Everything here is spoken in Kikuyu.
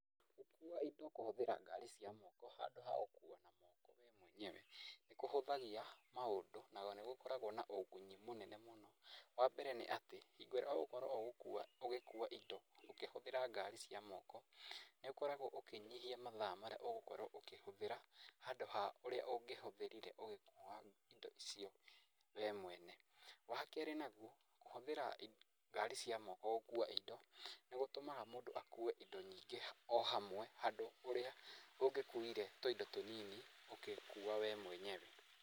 Gũkua indo kũhũthĩra ngari cia moko handũ hagũkua na moko we mwenyewe nĩ kũhũthagia mũndũ na nĩ gũkoragwo na ũgunyi mũnene mũno, wa mbere nĩ atĩ hingo ĩrĩa ũgũkorwo ũgĩkua indo ũkĩhũthĩra ngari cia moko nĩ ũkoragwo ũkĩnyihia mathaa marĩa ũgũkorwo ũkĩhũthĩra handũ ha ũrĩa ũngĩhũthĩrire ũgĩkua indo icio we mwene. Wa kerĩ naguo, kũhũthĩra ngari cia moko gũkua indo ,nĩ gũtũmaga mũndũ akue indo nyingĩ o hamwe handũ ha ũrĩa ũngĩkuire tũindo tũnini ũgĩkua we mwenyewe.